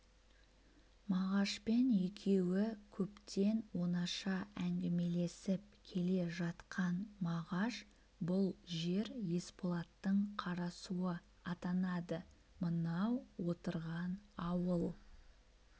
мағашпен екеуі көптен онаша әңгімелесіп келе жатқан мағаш бұл жер есболаттың қарасуы атанады мынау отырған ауыл